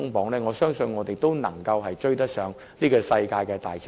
若然如此，我相信我們仍能追上世界的大潮流。